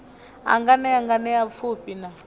a nganea nganea pfufhi na